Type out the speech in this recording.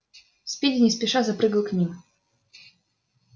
спиди не спеша запрыгал к ним